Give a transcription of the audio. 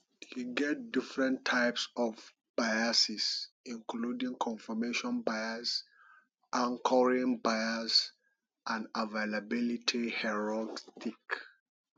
e get different types of biases including confirmation bias anchoring bias and availability herrorstic